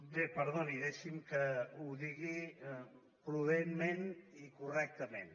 bé perdoni deixi’m que ho digui prudentment i correctament